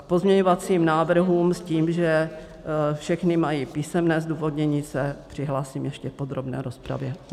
K pozměňovacím návrhům s tím, že všechny mají písemné zdůvodnění, se přihlásím ještě v podrobné rozpravě.